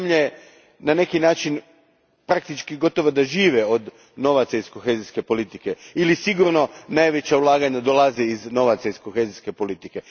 Neke zemlje na neki način praktički gotovo da žive od novaca iz kohezijske politike ili sigurno najveća ulaganja dolaze od novaca iz kohezijske politike.